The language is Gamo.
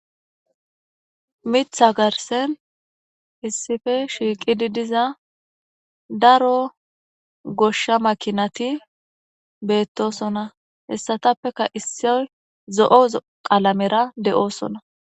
Mitha garsan issippe shiqidi diza daro gosha makinati betosona hesatappeka isoyi zo,o qalamera de,osona